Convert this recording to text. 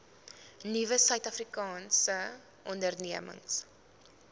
nuwe suidafrikaanse ondernemings